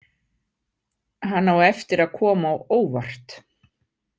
Hann á eftir að koma á óvart.